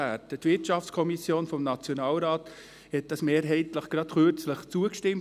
Diesem hat die Wirtschaftskommission des Nationalrats kürzlich mehrheitlich zugestimmt.